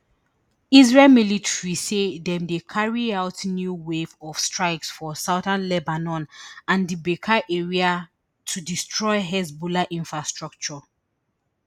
israel military say dem dey carry out new wave of strikes for southern lebanon and di beqaa area to destroy hezbollah infrastructure